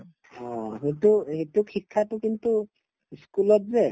অ, সেইটো সেইটো শিক্ষাটো কিন্তু ই school ত যে